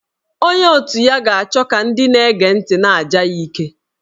Onye otu ya ga-achọ ka ndị na-ege ntị na-aja ya ike